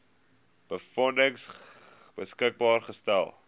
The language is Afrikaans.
befondsing beskikbaar gestel